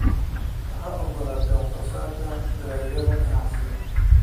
Waxaad ogolaatay wax soo saarka dalagyada ganacsiga.